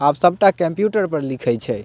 आब सब टा कंप्यूटर पर लिखे छै।